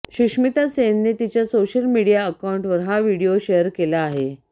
सुष्मिता सेनने तिच्या social media अकाऊंटवर हा व्हिडीओ शेअर केला आहे